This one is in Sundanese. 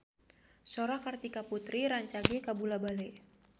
Sora Kartika Putri rancage kabula-bale